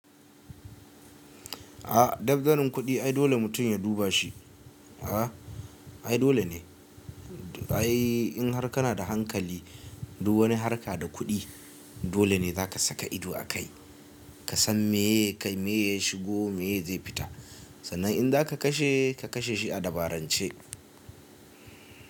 Ah dabzanin kuɗi ai dole mutum ya duba shi. A'a, ai dole ne. Ai in har kana da hankali duk wani harka da kuɗi dole ne za ka saka ido a kai. Ka san meya kayi, meya shigo, meya zai fita. Sannan in za ka kashe ka kashe shi a dabarance.